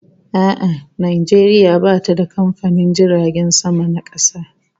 A'a, Najeriya bata da kamfanin jiragen sama na kasa